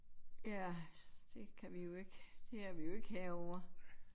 Ja det kan vi jo ikke det er vi jo ikke herre over